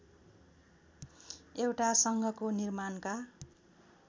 एउटा सङ्घको निर्माणका